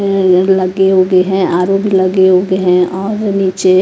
ये लगे होगे हैं आर_ओ भी लगे होगे हैं और नीचे--